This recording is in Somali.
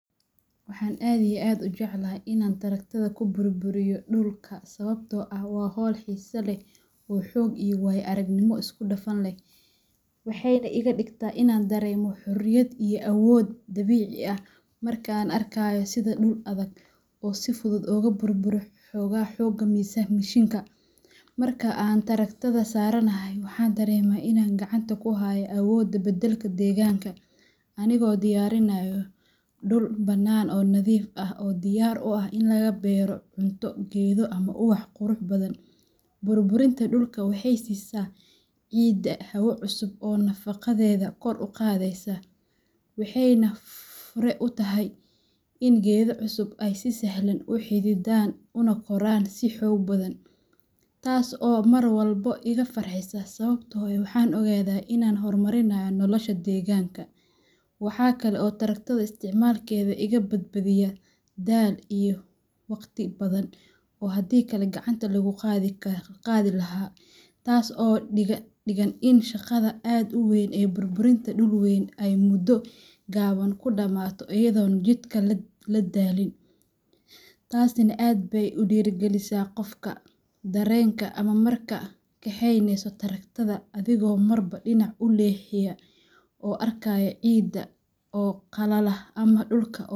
Waxaan aad iyo aad u jeclahay in aan taraktada ku burburiyo dhulka sababtoo ah waa hawl xiiso leh oo xoog iyo waayo-aragnimo isku dhafan leh, waxayna iga dhigtaa in aan dareemo xurriyad iyo awood dabiici ah marka aan arkayo sida dhul adag uu si fudud ugu burburo xoogga mishiinka. Marka aan taraktada saaranahay, waxaan dareemaa in aan gacanta ku hayo awoodda beddelka deegaanka, anigoo diyaarinaya dhul bannaan oo nadiif ah oo diyaar u ah in laga beero cunto, geedo, ama ubax qurux badan. Burburinta dhulka waxay siisaa ciidda hawo cusub oo nafaqadeeda kor u qaadaysa, waxayna fure u tahay in geedo cusub ay si sahlan u xididaan una koraan si xoog badan, taas oo mar walba iga farxisa sababtoo ah waxaan ogaadaa in aan horumarinayo nolosha deegaanka. Waxaa kale oo taraktada isticmaalkeedu iga badbaadiyaa daal iyo waqti badan oo haddii kale gacanta lagu qodi lahaa, taas oo ka dhigan in shaqada aad u weyn ee burburinta dhul weyn ay muddo gaaban ku dhammaato iyadoo aan jidhka la daalin, taasina aad bay u dhiirrigelisaa qofka. Dareenka ah marka aad kaxaynayso tarakto, adigoo marba dhinac u leexinaya oo arkaaya ciidda oo qalala ama dhulka.